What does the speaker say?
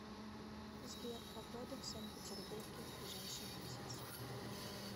сбер погода в санкт петербурге в ближайший месяц